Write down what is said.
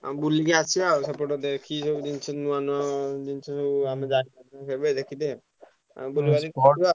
ଆଉ ବୁଲିକି ଆସିଆ ଆଉ ସେପଟ ଦେଖିକି ସବୁ ଜିନିଷ ନୂଆ ନୂଆ ଜିନିଷ ସବୁ ଆମେ ଯାଇ ନଥିଲେ କେବେ ଦେଖିତେ ଆଉ ବୁଲିବାଲି